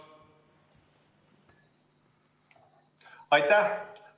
Aitäh!